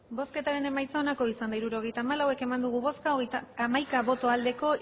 hirurogeita hamalau eman dugu bozka hamaika bai